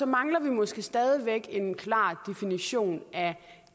mangler vi måske stadig væk en klar definition af